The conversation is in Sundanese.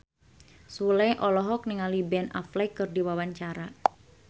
Sule olohok ningali Ben Affleck keur diwawancara